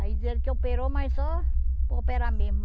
Aí diz ele que operou, mas só por operar mesmo.